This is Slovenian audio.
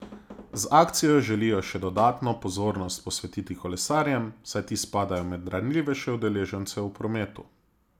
Z akcijo želijo še dodatno pozornost posvetiti kolesarjem, saj ti spadajo med ranljivejše udeležence v prometu.